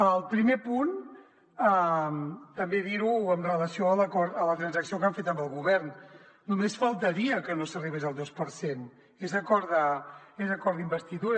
al primer punt també dir ho amb relació a la transacció que han fet amb el govern només faltaria que no s’arribés al dos per cent és acord d’investidura